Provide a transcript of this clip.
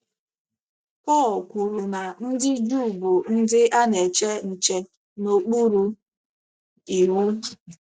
Pọl kwuru na ndị Juu bụ “ ndị a na - eche nche n’okpuru iwu. ”